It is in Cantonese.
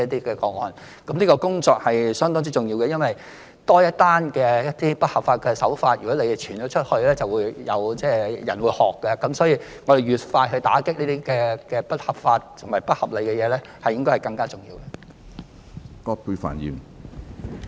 這項工作相當重要，因為如果多一宗不合法的營商手法案件傳出去，便會有人仿效，所以越快打擊不合法和不合理的情況越重要。